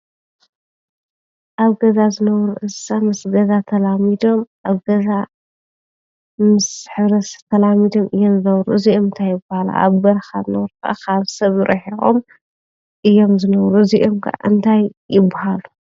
አብ ገዛ ዝነብሩ እንስሳት ምስ ገዛ ተላሚዶም አብ ገዛ ምስ ሕብረተሰብ ተላሚዶም እዮም ዝነብሩ እዚኦም እንታይ ይበሃሉ? አብ በረኻ ዝነብሩ ካብ ሰብ ሪሒቆም እዮም ዝነብሩ እዚአቶም ኸ እንታይ ይበሃሉ?